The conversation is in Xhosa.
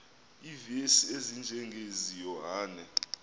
iivesi ezinjengezi yohane